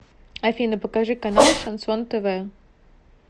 афина покажи канал шансон тв